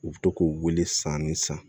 U bɛ to k'u wele san ni san